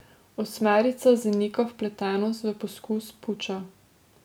Osmerica zanika vpletenost v poskus puča.